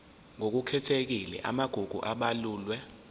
ngokukhethekile amagugu abalulwe